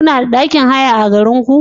Kuna da ɗakin haya a garinku?